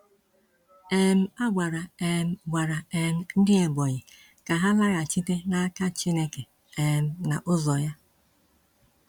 um A gwara um gwara um ndị Ebonyi ka ha laghachite n’aka Chineke um na ụzọ ya.